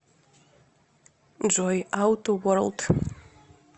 джой ауто ворлд